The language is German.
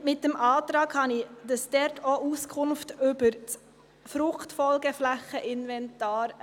Er enthält den Wunsch nach einer Auskunft über das Inventar zu den Fruchtfolgeflächen.